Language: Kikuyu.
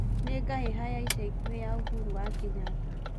nĩ ngahĩha yaĩcaĩkũhĩ ya uhuru wa kenyatta